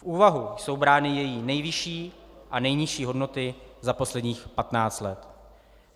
V úvahu jsou brány její nejvyšší a nejnižší hodnoty za posledních 15 let.